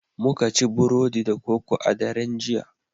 Muka ci Burodi da koko a daren jiya